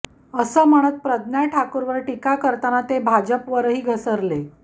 असं म्हणत प्रज्ञा ठाकूरवर टीका करताना ते भाजपवरही घसरले